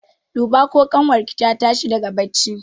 Duba ko ƙanwar ki ta tashi daga barci!